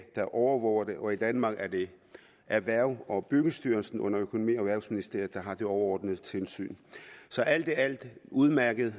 der overvåger det og i danmark er det erhvervs og byggestyrelsen under økonomi og erhvervsministeriet der har det overordnede tilsyn så alt i alt en udmærket